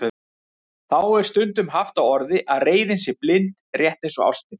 Þá er stundum haft á orði að reiðin sé blind, rétt eins og ástin.